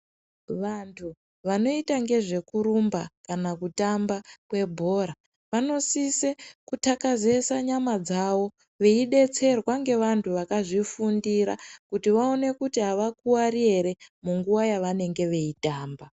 Wandu wanoita ngezvekurumba kana kutamba bhora, wanosisa kuthakazeesa nyama dzawo wei detserwa newandu wakazvifundira kuti waone kuti awakuwari ere munguwa yawanenge weitamba.